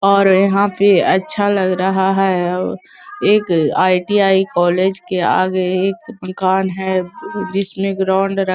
और यहाँ पे अच्छा लग रहा है। ओ एक आई.टी.आई. कॉलेज के आगे एक मकान है जिसमे ग्राउंड र --